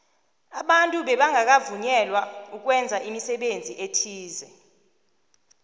abantu bebangakavunyelwa ukwenza imisebenzi ethize